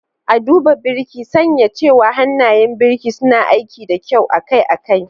A duba Birki, sanya cewa hannayen birki suna aiki da kyau akai-akai.